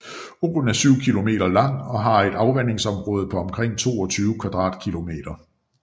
Åen er 7 kilometer lang og har et afvandingsområde på omkring 22 kvadratkilometer